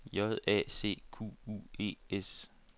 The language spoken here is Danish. J A C Q U E S